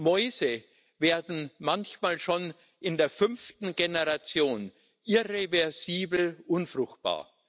Mäuse werden manchmal schon in der fünften Generation irreversibel unfruchtbar.